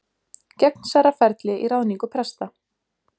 Gegnsærra ferli í ráðningu presta